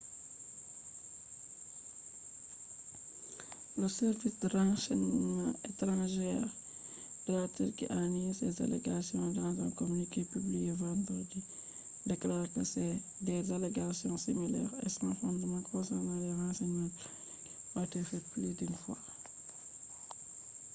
dr. lee fu holli damuwa mako hala rahotoji bukkon ha turkiyya nangi nyau ah5n1 damba cholli bo be hollai alama nyawugo